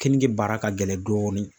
Kenige baara ka gɛlɛn dɔɔni,.